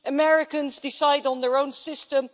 Americans decide on their own system